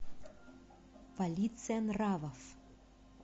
полиция нравов